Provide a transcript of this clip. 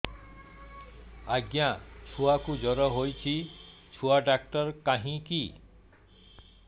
ଆଜ୍ଞା ଛୁଆକୁ ଜର ହେଇଚି ଛୁଆ ଡାକ୍ତର କାହିଁ କି